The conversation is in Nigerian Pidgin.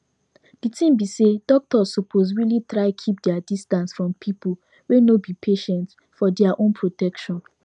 the thing be say doctors suppose really try keep their distance from people wey no be patient for their own protection